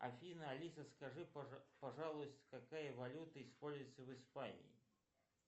афина алиса скажи пожалуйста какая валюта используется в испании